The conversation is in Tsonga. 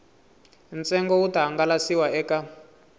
ntsengo wu ta hangalasiwa eka